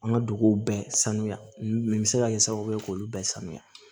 An ka duguw bɛɛ sanuya nin bɛ se ka kɛ sababu ye k'olu bɛɛ sanuya